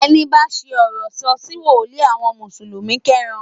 Ẹni bá ṣi ọ̀rọ̀ sọ̀ sí wòlíì àwọn mùsùlùmí kẹ́ran